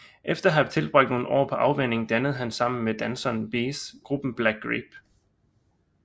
Efter at have tilbragt nogle år på afvænning dannede han sammen med danseren Bez gruppen Black Grape